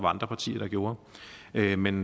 andre partier der gjorde men men